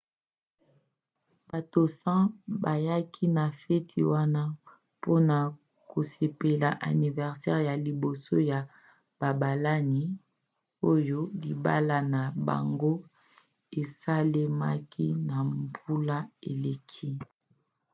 bato 100 bayaki na feti wana mpona kosepela aniversere ya liboso ya babalani oyo libala na bango esalemaki na mbula eleki